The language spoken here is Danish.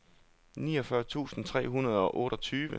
niogfyrre tusind tre hundrede og otteogtyve